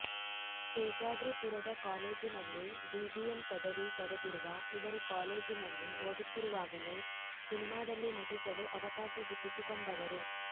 ಶೇಷಾದ್ರಿಪುರದ ಕಾಲೇಜಿನಲ್ಲಿ ಬಿಬಿಎಂ ಪದವಿ ಪಡೆದಿರುವ ಇವರು ಕಾಲೇಜಿನಲ್ಲಿ ಓದುತ್ತಿರುವಾಗಲೇ ಸಿನಿಮಾದಲ್ಲಿ ನಟಿಸಲು ಅವಕಾಶ ಗಿಟ್ಟಿಸಿಕೊಂಡವರು